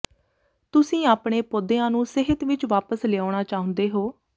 ਤੁਸੀਂ ਆਪਣੇ ਪੌਦਿਆਂ ਨੂੰ ਸਿਹਤ ਵਿਚ ਵਾਪਸ ਲਿਆਉਣਾ ਚਾਹੁੰਦੇ ਹੋ